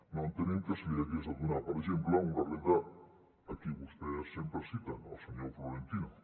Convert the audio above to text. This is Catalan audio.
no entenem que se li hagués de donar per exemple una renda a qui vostès sempre citen al senyor florentino